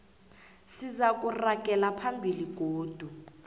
sizakuragela phambili godu